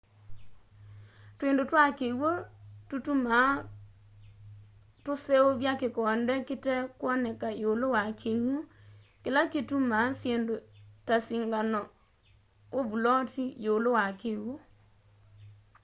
twindu twa kiwu tutumaa tuseuvya kikonde kitekwoneka iulu wa kiwu kila kituma syindu ta singano u vuloti yiulu wa kiwu